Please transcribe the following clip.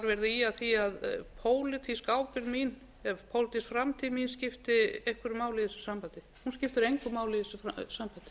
ýja að því að pólitísk ábyrgð eða pólitísk framtíð mín skipti einhverju máli í þessu sambandi hún skiptir engu máli í þessu sambandi